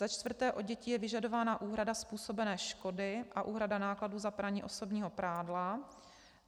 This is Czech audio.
Za čtvrté, od dětí je vyžadována úhrada způsobené škody a úhrada nákladů za praní osobního prádla.